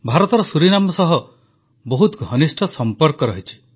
ଭାରତର ସୁରିନାମ ସହ ବହୁତ ଘନିଷ୍ଠ ସମ୍ପର୍କ ରହିଛି